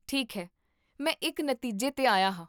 ਠੀਕ ਹੈ, ਮੈਂ ਇੱਕ ਨਤੀਜੇ 'ਤੇ ਆਇਆ ਹਾਂ